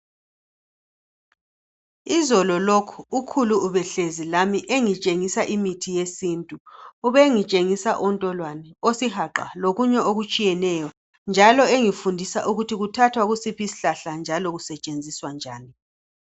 Izolo lokhu ukhulu ubehlezi lami engitshengisa imithi yesintu, ubengitshengisa ontolwane, osihaqa lokunye okutshiyeneyo njalo engifundisa ukuthi kuthathwa kusiphi isihlahla njalo kusetshenziswa njani.